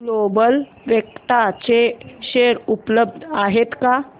global Vectra चे share उपलब्ध आहेत का